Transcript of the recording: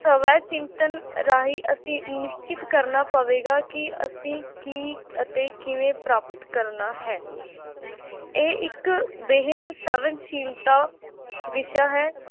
ਸਵੈ-ਚਿੰਤਨ ਰਾਹੀਂ ਅਸੀਂ ਨਿਸ਼ਚਿਤ ਕਰਨਾ ਪਵੇਗਾ ਕਿ ਅਸੀਂ ਕੀ ਅਤੇ ਕਿਵੇਂ ਪ੍ਰਾਪਤ ਕਰਨਾ ਹੈ ਇਹ ਇੱਕ ਬੇਹੱਦ ਸੰਵੇਦਨਸ਼ੀਲਤਾ ਵਿਸ਼ਾ ਹੈ l